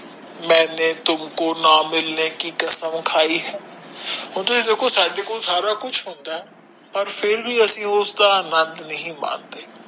ਮੇਨੇ ਤੁਮਕੋ ਨਾ ਮਿਲਨੇ ਕਿ ਕਸਮ ਖਾਇ ਹੈ ਹੁਣ ਤੁਸੀ ਦੇਖੋ ਸਾਡੇ ਕੋਲ ਸਾਰਾ ਕੁਝ ਹੁੰਦਾ ਹੈ ਪਰ ਫੇਰ ਵੀ ਅਸੀਂ ਉਸਦਾ ਆਨੰਦ ਨਹੀਂ ਮਾਣਦੇ